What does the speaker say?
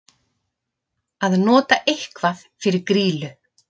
Að nota eitthvað fyrir grýlu